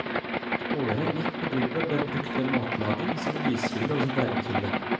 Åren midt på gulvet ble brukt til matlaging, som lyskilde og som varmekilde.